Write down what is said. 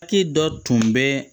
Papiye dɔ tun bɛ